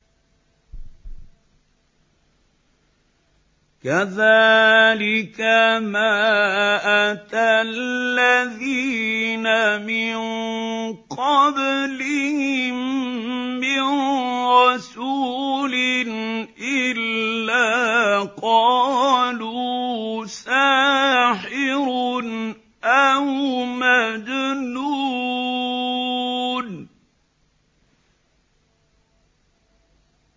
كَذَٰلِكَ مَا أَتَى الَّذِينَ مِن قَبْلِهِم مِّن رَّسُولٍ إِلَّا قَالُوا سَاحِرٌ أَوْ مَجْنُونٌ